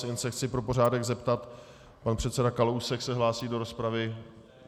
Jen se chci pro pořádek zeptat: Pan předseda Kalousek se hlásí do rozpravy?